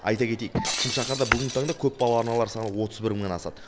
айта кетейік шымшаһарда бүгінгі таңда көпбалалы аналар саны отыз бір мыңнан асады